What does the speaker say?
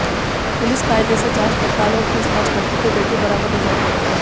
police कायदे से जांच पड़ताल और पूछताछ करती तो बेटी बरामद हो जाती